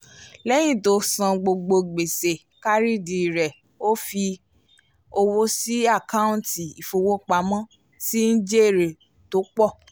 lẹ́yìn tó san gbogbo gbèsè kárìdì rẹ̀ ó fi owó sí àkọọ́ntì ìfowópamọ́ tí ń jèrè tó pọ̀